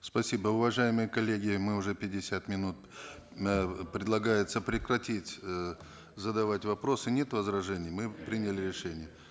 спасибо уважаемые коллеги мы уже пятьдесят минут э предлагается прекратить э задавать вопросы нет возражений мы приняли решение